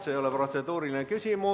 See ei ole protseduuriline küsimus.